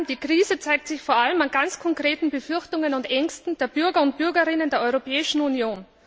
Die Krise zeigt sich vor allem bei ganz konkreten Befürchtungen und Ängsten der Bürger und Bürgerinnen der Europäischen Union.